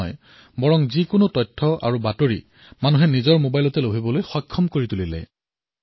ইয়াৰ জৰিয়তে তেওঁলোকে যিকোনো সূচনা তথা জাননী নিজৰ মবাইলতেই প্ৰাপ্ত কৰিব পাৰে